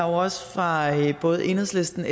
også fra både enhedslistens